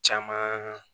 Caman